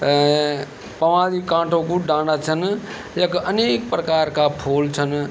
ए पवाँली कांठो कु डांडा छन यख अनेक प्रकार का फूल छन।